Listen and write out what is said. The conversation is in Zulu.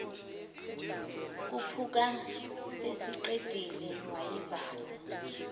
khuphuka sesiqedile wayivala